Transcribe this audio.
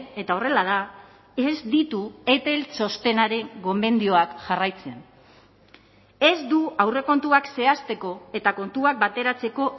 eta horrela da ez ditu etel txostenaren gomendioak jarraitzen ez du aurrekontuak zehazteko eta kontuak bateratzeko